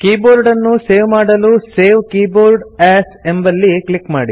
ಕೀಬೋರ್ಡನ್ನು save ಮಾಡಲು save keyboard as ಎಂಬಲ್ಲಿ click ಮಾಡಿ